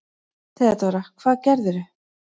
THEODÓRA: Hvað gerðirðu?